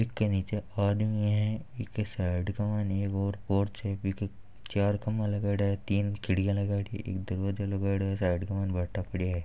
इसके नीचे आदमी है इसके साइड एक और पोर्च है चार खंभे लगायेडा है तीन खिड़कियां लगी है एक दरवाजा लगायेडा है साइड भाठा पड़ा है।